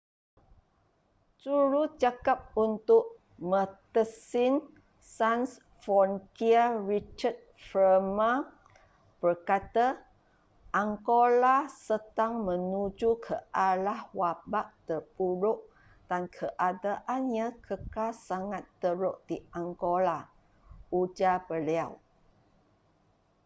jurucakap untuk medecines sans frontiere richard veerman berkata angola sedang menuju ke arah wabak terburuk dan keadaannya kekal sangat teruk di angola ujar beliau